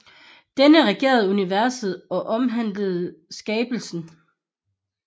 Denne regerer universet og omhandler skabelsen